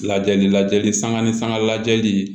Lajɛli lajɛli sanga ni sanga lajɛli